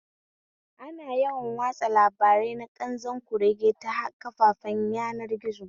Ana yawan watsa labarai na ƙanzon kurege ta kafafen yanar gizo